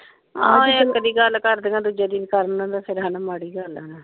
ਆਹ ਇੱਕ ਦੀ ਗੱਲ ਕਰਦਿਆਂ ਦੂਜੇ ਨੀ ਨਾ ਕਰਨ ਇਹ ਤੇ ਮਾੜੀ ਗੱਲ ਆ ਨਾ ਫੇਰ।